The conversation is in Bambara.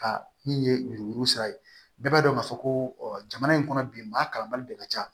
Ka min ye yuruku yuruku sira ye bɛɛ b'a dɔn k'a fɔ ko jamana in kɔnɔ bi maa kalanbali de ka ca